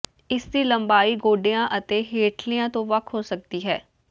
ਇਸ ਦੀ ਲੰਬਾਈ ਗੋਡਿਆਂ ਅਤੇ ਹੇਠਲਿਆਂ ਤੋਂ ਵੱਖ ਹੋ ਸਕਦੀ ਹੈ